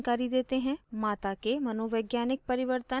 माता के मनोवैज्ञानिक परिवर्तन